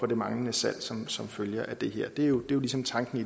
det manglende salg som som følge af det her det er jo ligesom tanken